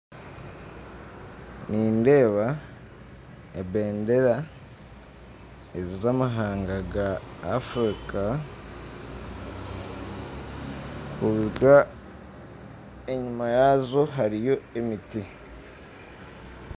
Nindeeba ebendera zamahanga ga Africa kwonka enyuma yaazo hariyo emiti